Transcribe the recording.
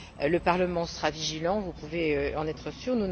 Le Parlement sera vigilant, vous pouvez en être sûrs.